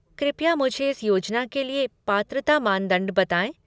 कृपया मुझे इस योजना के लिए पात्रता मानदंड बताएँ।